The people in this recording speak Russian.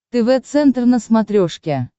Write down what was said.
тв центр на смотрешке